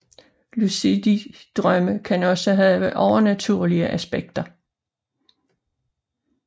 Lucide drømme kan også have overnaturlige aspekter